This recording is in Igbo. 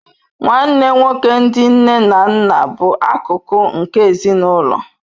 Nnanne nwoke ndi nne na nna bụ akụkụ nke ezinụlọ.